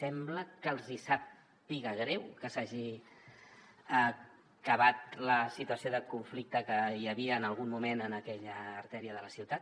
sembla que els hi sàpiga greu que s’hagi acabat la situació de conflicte que hi havia en algun moment en aquella artèria de la ciutat